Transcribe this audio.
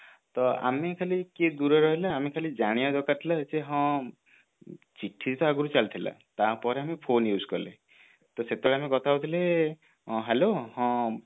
ତ ଆମେ ଖାଲି କିଏ ଦୂରରେ ରହିଲେ ଆମେ ଖାଲି ଜାଣିବା ଦରକାର ଥିଲା ଯେ ହଁ ଚିଠି ତ ଆଗରୁ ଚାଲିଥିଲା ତା ପରେ ଆମେ phone use କଲେ ତ ସେତେବେଳେ ଆମେ କଥା ହଉଥିଲେ hello ହଁ